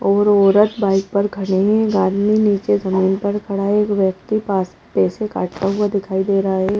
और औरत बाइक पर खड़े हुई हैं एक आदमी नीचे जमीन पर खड़ा है एक व्यक्ति पास पैसे काटता हुआ दिखाई दे रहा है।